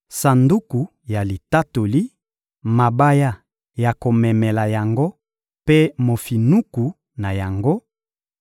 Sanduku ya Litatoli, mabaya ya komemela yango mpe mofinuku na yango,